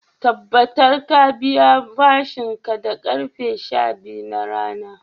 tabbatar ka biya bashin ka da karfe sha biyu na rana